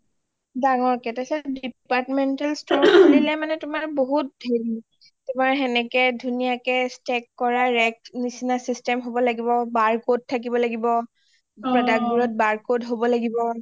ডাঙৰকে ,তাৰ পিছত departmental store খুলিলে বহুত হেৰি সেনেকে ধুনীয়া কে stack কৰা rack নিচিনা system হ’ব লাগিব , barcode থাকিব লাগিব product বোত বাৰ code হব লাগিব